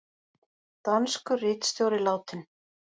Danskur ritstjóri látinn